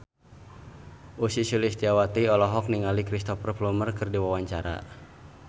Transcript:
Ussy Sulistyawati olohok ningali Cristhoper Plumer keur diwawancara